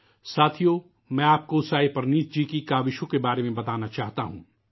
ساتھیو ، میں آپ کو سائیں پرنیت جی کی کوششوں کے بارے میں بتانا چاہتا ہوں